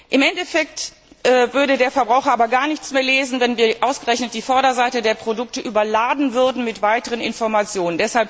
Im Endeffekt würde der Verbraucher aber gar nichts mehr lesen, wenn wir ausgerechnet die Vorderseite der Produkte überladen würden mit weiteren Informationen.